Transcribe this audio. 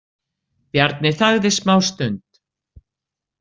Bjarni þagði smástund.